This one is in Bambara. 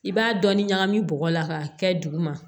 I b'a dɔɔnin ɲagami bɔgɔ la k'a kɛ duguma